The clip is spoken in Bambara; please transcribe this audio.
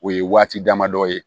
O ye waati dama dɔ ye